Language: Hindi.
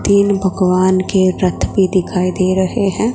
तीन भगवान के रथ भी दिखाई दे रहे हैं।